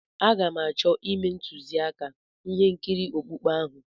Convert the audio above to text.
Aga m achọ ime ntuziaka ihe nkiri okpukpe ahụ.